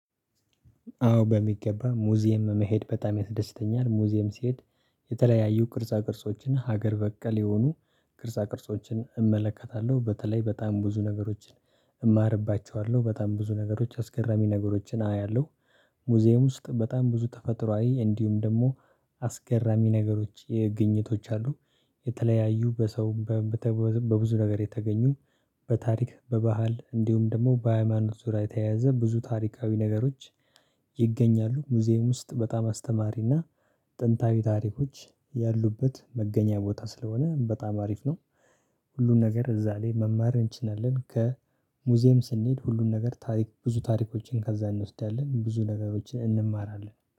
አዎ በሚገባ ሙዚየም መሄድ በጣም ያስደስተኛል ሙዚየም ስሄድ የተለያዩ ቅርጻ ቅርጾችን ሀገር በቀል የሆኑ ቅርጻ ቅርጾችን እመለከታለሁ በተለይ በጣም ብዙ ነገሮችን እማርባቸዋለሁ በጣም ብዙ ነገሮች አስገራሚ ነገሮችን አያለሁ። ሙዚየም ውስጥ በጣም ብዙ ተፈጥሮአዊ እንዲሁም ደግሞ አስገራሚ ነገሮች የ ግኝቶች አሉ። የተለያዩ በሰው በብዙ ነገር የተገኙ በታሪክ በባህል እንዲሁም ደግሞ በሃይማኖት ዙሪያ የተያያዘ ብዙ ታሪካዊ ነገሮች ይገኛሉ። ሙዚየም ውስጥ በጣም አስተማሪና ጥንታዊ ታሪኮች ያሉበት መገኛ ቦታ ስለሆነ በጣም አሪፍ ነው። ሁሉን ነገር እዛ ላይ መማር እንችላለን ከሙዚየም ስንሄድ ሁሉን ነገር ታሪክ ብዙ ታሪኮችን ከዛ እንወስዳለን ብዙ ነገሮችን እንማራለን